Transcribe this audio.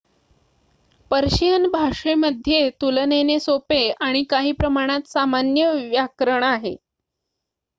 Persian भाषेमध्ये तुलनेने सोपे आणि काही प्रमाणात सामान्य व्याकरण आहे